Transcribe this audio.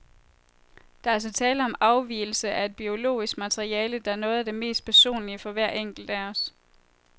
Der er altså tale om afgivelse af et biologisk materiale, der er noget af det mest personlige for hver enkelt af os.